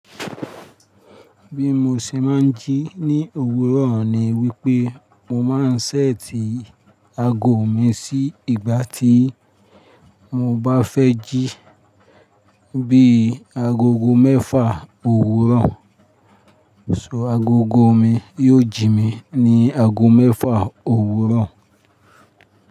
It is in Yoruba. Bí mo ṣe máa ń jí ní òwúrọ̀ ni wípé mo máa ń ṣẹ́ẹ̀tì aago mi sí ìgbà tí mo bá fẹ́ jí, bí i agogo mẹ́fà òwúrọ̀, so agogo mi yóò jí mi ní ago mẹ́fà òwúrọ̀.